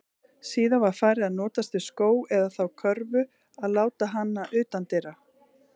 Síðar var farið að notast við skó, eða þá körfu og láta hana utandyra.